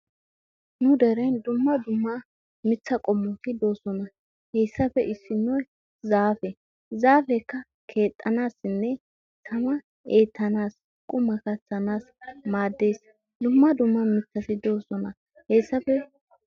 Nu dereen dumma dumma mittati qomotti deoosona. Hessappe issinoy zaafe. Zaafekka keexxanaasinne tama eetanass qummaa kaattanassi maaddees.